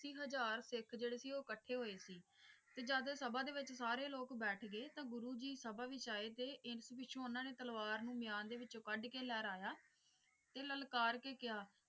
ਅੱਸੀ ਹਜ਼ਾਰ ਸਿੱਖ ਜਿਹੜੇ ਸੀ ਉਹ ਇੱਕਠੇ ਹੋਏ ਸੀ ਤੇ ਜਦ ਸਭਾ ਦੇ ਵਿੱਚ ਸਾਰੇ ਲੋਕ ਬੈਠ ਗਏ ਤਾਂ ਗੁਰੂ ਜੀ ਸਭਾ ਵਿੱਚ ਆਏ ਤੇ ਇਸ ਪਿੱਛੋਂ ਉਹਨਾਂ ਨੇ ਤਲਵਾਰ ਨੂੰ ਮਿਆਨ ਦੇ ਵਿੱਚੋਂ ਕੱਢ ਕੇ ਲਹਿਰਾਇਆ ਤੇ ਲਲਕਾਰ ਕੇ ਕਿਹਾ।